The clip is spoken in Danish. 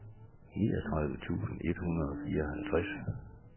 niogtredive tusind et hundrede og fireoghalvtreds